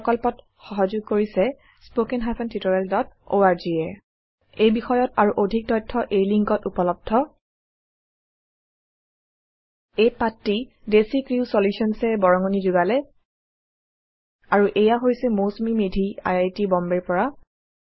এই প্ৰকল্পত সহযোগ কৰিছে httpspoken tutorialorg এ এই বিষয়ত আৰু অধিক তথ্য এই লিংকত উপলব্ধhttpspoken tutorialorgNMEICT Intro এই পাঠত ডেচিক্ৰিউ Solutions এ বৰঙনি যোগালে আৰু এইয়া হৈছে Mousumi Medhi I I T বম্বেৰ পৰা